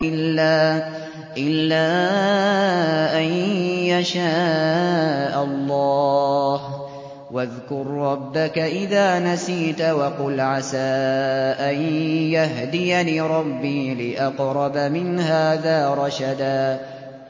إِلَّا أَن يَشَاءَ اللَّهُ ۚ وَاذْكُر رَّبَّكَ إِذَا نَسِيتَ وَقُلْ عَسَىٰ أَن يَهْدِيَنِ رَبِّي لِأَقْرَبَ مِنْ هَٰذَا رَشَدًا